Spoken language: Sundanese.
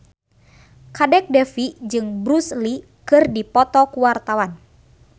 Kadek Devi jeung Bruce Lee keur dipoto ku wartawan